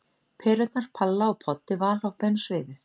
Perurnar Palla og Poddi valhoppa inn á sviðið.